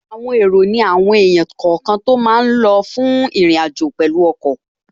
Àwọn èrò ní àwọn èèyàn kọ̀ọ̀kan tó máa lọ fún ìrìnàjò pẹ̀lú ọkọ̀